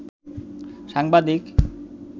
সাংবাদিক